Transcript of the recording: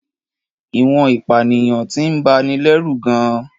Ìwọ̀n ìpànìyàn ti ń bani lẹ́rù gan-an.